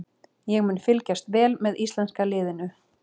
Ég mun fylgjast vel með íslenska liðinu.